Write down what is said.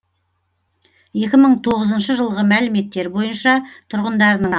екі мың тоғызыншы жылғы мәліметтер бойынша тұрғындарының